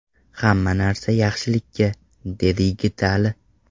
Hamma narsa yaxshilikka”, dedi Yigitali.